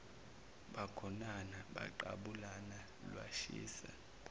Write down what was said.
bagonana baqabulana lwashisa